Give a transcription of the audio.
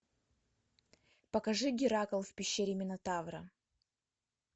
покажи геракл в пещере минотавра